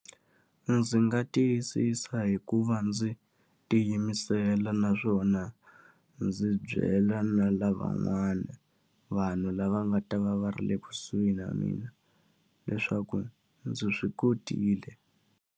Ndzi nga tiyisisa hi ku va ndzi tiyimisela naswona ndzi byela na lavan'wana vanhu lava nga ta va va ri le kusuhi na mina, leswaku ndzi swi kotile.